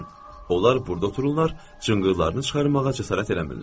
Onlar burda otururlar, cınqırlarını çıxarmağa cəsarət eləmirlər.